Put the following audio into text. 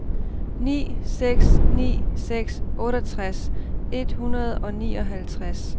ni seks ni seks otteogtres et hundrede og nioghalvtreds